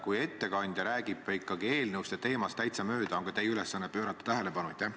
Kui ettekandja ikkagi räägib eelnõust ja teemast täitsa mööda, on teie ülesanne sellele tähelepanu juhtida.